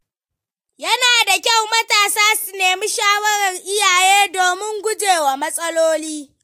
Yana da kyau matasa su nemi shawarar iyaye domin gujewa matsaloli.